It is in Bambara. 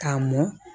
K'a mɔn